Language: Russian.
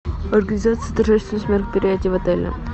организация торжественных мероприятий в отеле